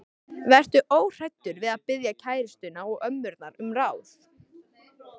Vertu óhræddur við að biðja kærustuna og ömmurnar um ráð.